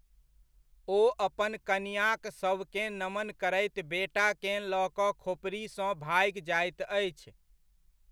ओ अपन कनिआँक शवकेँ नमन करैत बेटाकेँ लऽ कऽ खोपड़िसँ भागि जाइत अछि।